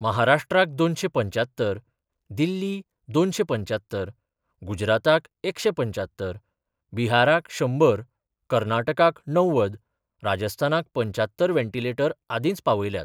महाराष्ट्राक दोनशे पंच्यात्तर, दिल्ली दोनशे पंच्यात्तर, गुजराताक एकशे पंच्यात्तर, बिहाराक शंबर, कर्नाटकाक णव्वद, राजस्थानाक पंच्यात्तर वेंटिलेटर आदींच पावयल्यात.